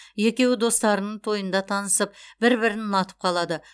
екеуі достарының тойында танысып бір бірін ұнатып қалады